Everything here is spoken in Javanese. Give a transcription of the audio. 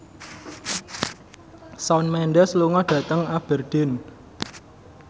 Shawn Mendes lunga dhateng Aberdeen